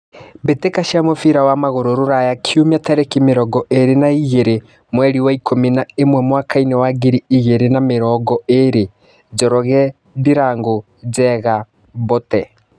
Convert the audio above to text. Mbĩtĩka cia mũbira wa magũrũ Ruraya Kiumia tarĩki mĩrongo ĩrĩ na igĩrĩ mweri wa ikũmi na ĩmwe mwakainĩ wa ngiri igĩrĩ na mĩrongo ĩrĩ :Njoroge, Ndirangu, Njenga, Mbote.